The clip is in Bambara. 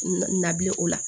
Nabilen o la